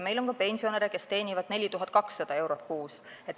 Meil on ka pensionäre, kes teenivad 4200 eurot kuus.